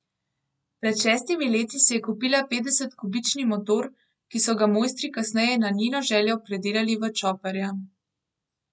Pred šestimi leti si je kupila petdesetkubični motor, ki so ga mojstri kasneje na njeno željo predelali v čoperja.